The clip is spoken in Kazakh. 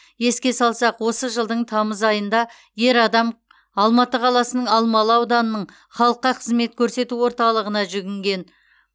еске салсақ осы жылдың тамыз айында ер адам алматы қаласының алмалы ауданының халыққа қызмет көрсету орталығына жүгінген